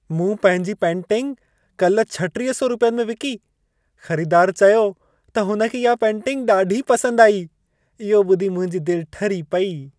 मूं पंहिंजी पेंटिंग काल्ह 3600 रुपयनि में विकी। ख़रीदार चयो त हुनखे इहा पेंटिंग ॾाढी पसंदि आई। इहो ॿुधी मुंहिंजी दिलि ठरी पेई।